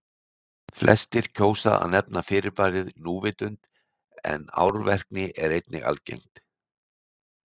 Flestir kjósa að nefna fyrirbærið núvitund en árvekni er einnig algengt.